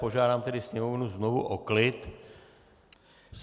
Požádám tedy Sněmovnu znovu o klid.